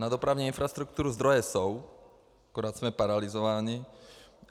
Na dopravní infrastrukturu zdroje jsou, akorát jsme paralyzováni.